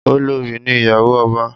Olorì ní ìyàwó ọba